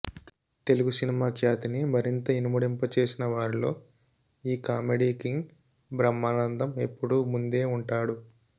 Telugu cinema ఖ్యాతిని మరింత ఇనుమడింపజేసిన వారిలో ఈ కామెడీ కింగ్ బ్రహ్మానందం ఎప్పుడూ ముందే ఉంటాడు